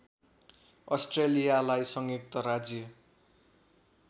अस्ट्रेलियालाई संयुक्त राज्य